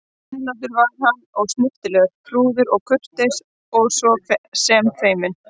Hreinlátur var hann og snyrtilegur, prúður og kurteis og svo sem feiminn.